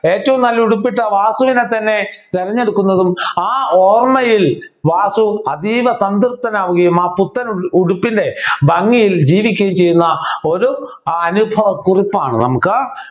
ഏറ്റവും നല്ല ഉടുപ്പിട്ട വാസുവിനെ തന്നെ തിരഞ്ഞെടുക്കുന്നതും ആ ഓർമയിൽ വാസു അതീവ സംതൃപ്തൻ ആവുകയും ആ പുത്തനുടുപ്പിൻ്റെ ഭംഗിയിൽ ജീവിക്കുകയും ചെയ്യുന്ന ഒരു അനുഭവക്കുറിപ്പാണ് നമുക്ക്